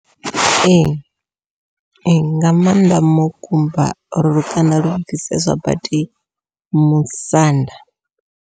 Ee ee nga maanḓa mukumba uri lukanda lu bviseswa badi musanda.